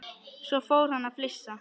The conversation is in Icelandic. Svo fór hann að flissa.